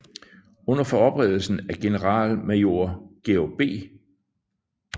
Under forberedelsen af generalmajor George B